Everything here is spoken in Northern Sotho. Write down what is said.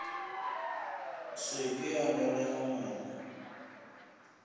se ke a nolega moko